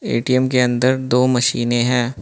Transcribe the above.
ATM के अंदर दो मशीनें है।